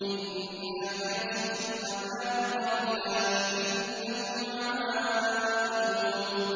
إِنَّا كَاشِفُو الْعَذَابِ قَلِيلًا ۚ إِنَّكُمْ عَائِدُونَ